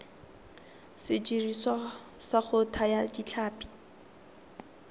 sediriswa sa go thaya ditlhapi